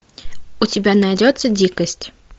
у тебя найдется дикость